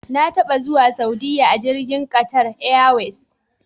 Na taba zuwa Saudiya a jirgin Qatar Airways.